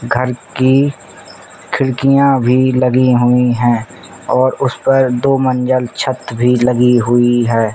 घर की खिड़कियाँ भी लगी हुई हैं और उस पर दो मंजल छत भी लगी हुई है।